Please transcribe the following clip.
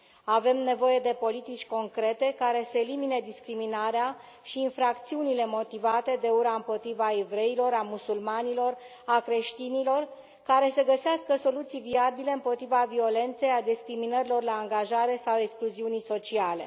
Avem nevoie de politici concrete, care să elimine discriminarea și infracțiunile motivate de ura împotriva evreilor, a musulmanilor, a creștinilor, care să găsească soluții viabile împotriva violenței, a discriminărilor la angajare sau a excluziunii sociale.